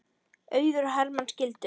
Auður og Hermann skildu.